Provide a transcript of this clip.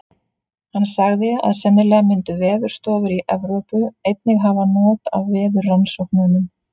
Hann sagði, að sennilega myndu veðurstofur í Evrópu. einnig hafa not af veðurrannsóknunum.